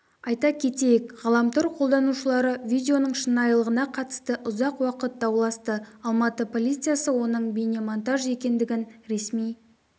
айта кетейік ғаламтор қолданушылары видеоның шынайылығына қатысты ұзақ уақыт дауласты алматы полициясы оның бейнемонтаж екендігін ресми